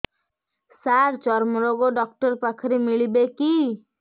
ସାର ଚର୍ମରୋଗ ଡକ୍ଟର ପାଖରେ ମିଳିବେ କି